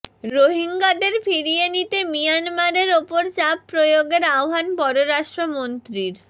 রোহিঙ্গাদের ফিরিয়ে নিতে মিয়ানমারের ওপর চাপ প্রয়োগের আহ্বান পররাষ্ট্রমন্ত্রীর